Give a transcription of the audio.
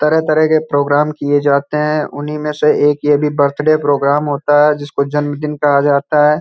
तरह तरह के प्रोग्राम किये जाते है उन्ही मे से एक ये बर्थडे प्रोग्राम होता है जिसको जन्मदिन कहा जाता है।